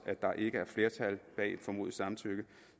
at der ikke er flertal bag formodet samtykke